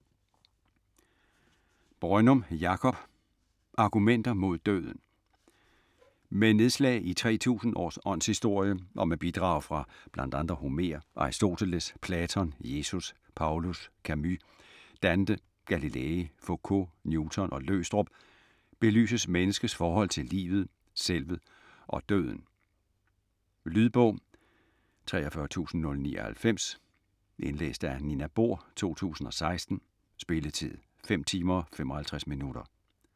Brønnum, Jakob: Argumenter mod døden Med nedslag i 3000 års åndshistorie, og med bidrag fra bl.a. Homer, Aristoteles, Platon, Jesus, Paulus, Camus, Dante, Galilei, Focault, Newton og Løgstrup, belyses menneskets forhold til livet, selvet og døden. Lydbog 43099 Indlæst af Nina Bohr, 2016. Spilletid: 5 timer, 55 minutter.